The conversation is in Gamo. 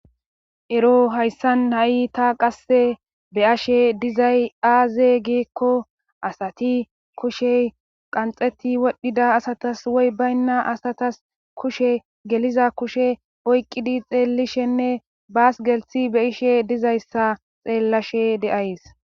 Ero hayssan ha'i ta qasse beyashe dizay aaze geekko asati kushey qanxeti wodhdhida asatas woy baynna asatas kushe geliza kushe oyqidi xeelishenne baas gelthi be ishe dizayssa xeellashe deays